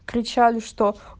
кричали что